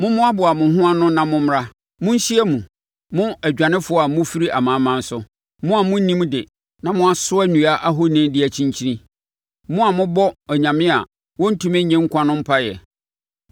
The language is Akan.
“Mommoaboa mo ho ano na mommra; monhyia mu, mo adwanefoɔ a mofiri amanaman so, mo a monnim de na moasoa nnua ahoni de kyinkyini, mo a mobɔ anyame a wɔntumi nnye nkwa no mpaeɛ.